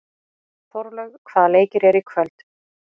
Þórlaug, hvaða leikir eru í kvöld?